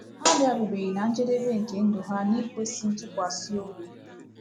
Ha abịarubeghị ná njedebe nke ndụ ha n’ikwesị ntụkwasị obi.